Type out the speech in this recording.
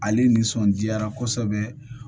Ale nisɔndiyara kosɛbɛ